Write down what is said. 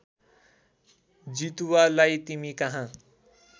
जितुवालाई तिमी कहाँ